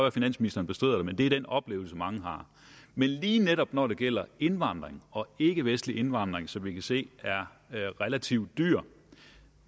at finansministeren bestrider det men det er den oplevelse mange har men lige netop når det gælder indvandring og ikkevestlig indvandring som vi kan se er relativt dyr